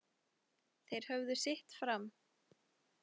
Þeir höfðu sitt fram.